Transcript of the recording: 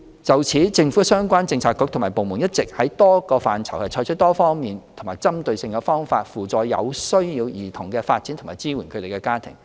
就此，政府相關政策局與部門一直在多個範疇採取多方面及針對性的方法，扶助有需要兒童的發展及支援他們的家庭。